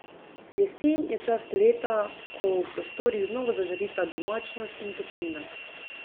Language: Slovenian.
Jesen je čas leta, ko v prostorih znova zažarita domačnost in toplina.